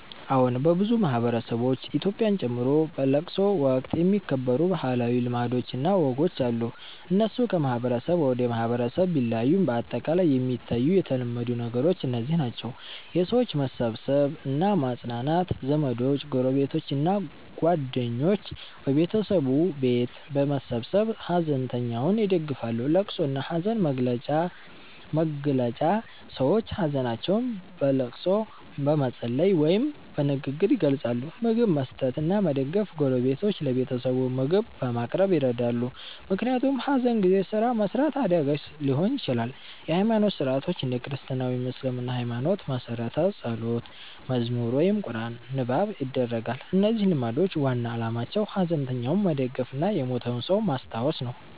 አዎን፣ በብዙ ማህበረሰቦች (ኢትዮጵያን ጨምሮ) በለቅሶ ወቅት የሚከበሩ ባህላዊ ልማዶች እና ወጎች አሉ። እነሱ ከማህበረሰብ ወደ ማህበረሰብ ቢለያዩም በአጠቃላይ የሚታዩ የተለመዱ ነገሮች እነዚህ ናቸው፦ የሰዎች መሰብሰብ እና ማጽናናት ዘመዶች፣ ጎረቤቶች እና ጓደኞች በቤተሰቡ ቤት በመሰብሰብ ሐዘንተኛውን ይደግፋሉ። ልቅሶ እና ሐዘን መግለጫ ሰዎች ሀዘናቸውን በልቅሶ፣ በመጸለይ ወይም በንግግር ይገልጻሉ። ምግብ መስጠት እና መደገፍ ጎረቤቶች ለቤተሰቡ ምግብ በማቅረብ ይረዳሉ፣ ምክንያቱም ሐዘን ጊዜ ስራ መስራት አዳጋች ሊሆን ይችላል። የሃይማኖት ሥርዓቶች እንደ ክርስትና ወይም እስልምና ሃይማኖት መሠረት ጸሎት፣ መዝሙር ወይም ቁርአን ንባብ ይደረጋል። እነዚህ ልማዶች ዋና ዓላማቸው ሐዘንተኛውን መደገፍ እና የሞተውን ሰው ማስታወስ ነው።